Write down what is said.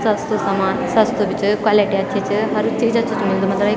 सस्तु सामान सस्तु भी च क्वालिटी अच्छी च हर चीज अच्छु-अच्छु मिल्द मलब य --